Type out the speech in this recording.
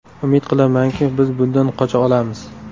Umid qilamanki, biz bundan qocha olamiz.